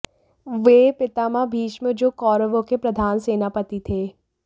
वे पितामह भीष्म जो कौरवों के प्रधान सेनापति थे